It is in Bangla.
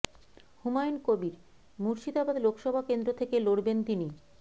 হুমায়ুন কবীর মুর্শিদাবাদ লোকসভা কেন্দ্র থেকে লড়বেন তিনি